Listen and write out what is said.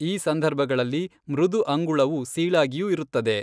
ಈ ಸಂದರ್ಭಗಳಲ್ಲಿ ಮೃದು ಅಂಗುಳವು ಸೀಳಾಗಿಯೂ ಇರುತ್ತದೆ.